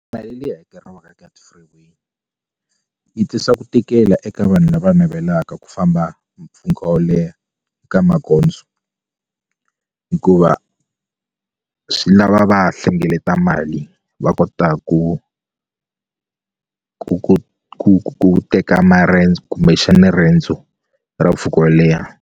Mali leyi hakeriwaka eka ti-freeway yi tirhisa ku tikela eka vanhu lava navelaka ku famba mpfhuka wo leha eka magondzo hikuva swi lava va hlengeleta mali va kota ku ku ku ku ku teka marendzo kumbexani riendzo ra mpfhuka wo leha.